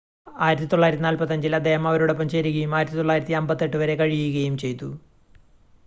1945-ൽ അദ്ദേഹം അവരോടൊപ്പം ചേരുകയും 1958 വരെ കഴിയുകയും ചെയ്തു